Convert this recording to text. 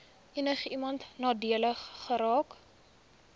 enigiemand nadelig geraak